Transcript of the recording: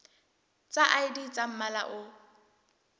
tsa id tsa mmala o